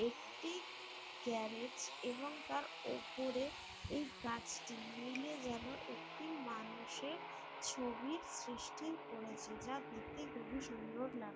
একটি গ্যারেজ এবং তার ওপরে এই গাছটি মিলে যেন একটি মানুষের ছবির সৃষ্টি করেছে যা দেখতে খুবই সুন্দর লাগ--